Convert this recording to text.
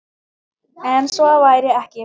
En svo væri ekki.